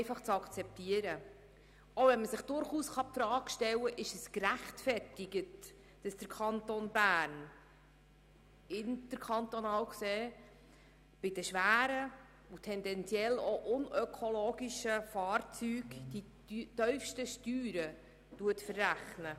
Dies auch, wenn man sich durchaus die Frage stellen kann, ob es gerechtfertigt ist, dass der Kanton Bern interkantonal betrachtet bei den schweren und tendenziell auch unökonomischen Fahrzeugen die tiefsten Steuern verrechnet.